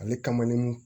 Ale kamalen